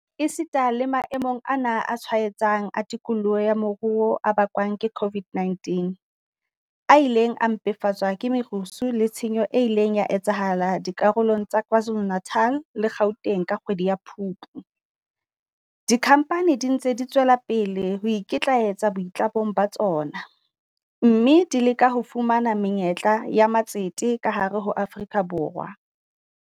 Esita le mae mong ana a tshwenyang a tikoloho ya moruo a ba kwang ke COVID-19, a ileng a mpefatswa ke merusu le tshenyo e ileng ya etsahala dikarolong tsa KwaZuluNatal le Gauteng ka kgwedi ya Phupu, dikhampani di ntse di tswela pele ho ikitlaetsa boitlamong ba tsona, mme di leka ho fumana menyetla ya matsete ka hare ho Afrika Borwa.